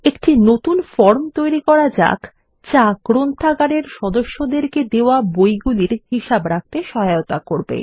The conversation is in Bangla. একটি নতুন ফর্ম তৈরী করা যাক যা গ্রন্থাগারের সদস্যদের দেওয়া বইগুলির হিসাব রাখতে সহায়তা করবে